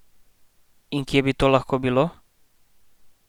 In kje bi to lahko bilo?